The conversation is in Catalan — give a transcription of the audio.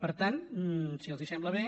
per tant si els sembla bé